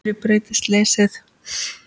Hverju breytti slysið?